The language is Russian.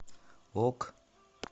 ок